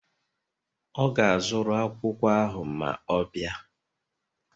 Ọ ga-azụrụ akwụkwọ ahụ ma ọ bịa